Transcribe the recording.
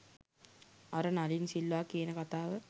අර නලින් සිල්වා කියන කතාව